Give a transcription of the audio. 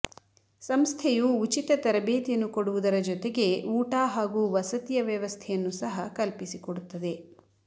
ಸಂಸ್ಥೆಯು ಉಚಿತ ತರಬೇತಿಯನ್ನು ಕೊಡುವುದರ ಜೊತೆಗೆ ಊಟ ಹಾಗೂ ವಸತಿಯ ವ್ಯವಸ್ಥೆಯನ್ನು ಸಹ ಕಲ್ಪಿಸಿಕೊಡುತ್ತದೆ